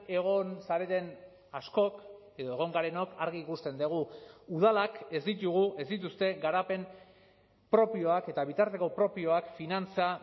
egon zareten askok edo egon garenok argi ikusten dugu udalak ez ditugu ez dituzte garapen propioak eta bitarteko propioak finantza